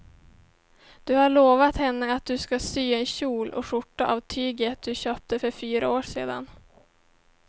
Du har lovat henne att du ska sy en kjol och skjorta av tyget du köpte för fyra år sedan.